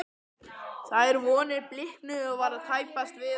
Þær vonir bliknuðu og var tæpast við hann að sakast.